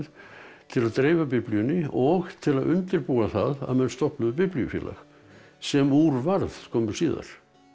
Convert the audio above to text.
til að dreifa Biblíunni og til að undirbúa það að menn stofnuðu biblíufélag sem úr varð skömmu síðar